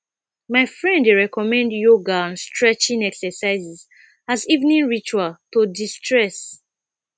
my friend dey recommend yoga and stretching exercises as evening ritual to destress